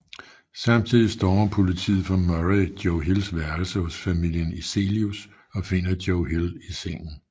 Samtidigt stormer politiet fra Murray Joe Hills værelse hos familien Eselius og finder Joe Hill i sengen